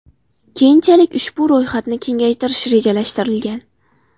Keyinchalik ushbu ro‘yxatni kengaytirish rejalashtirilgan.